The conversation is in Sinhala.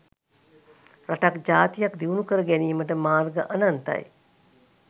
රටක් ජාතියක් දියුණු කර ගැනීමට මාර්‍ග අනන්තයි.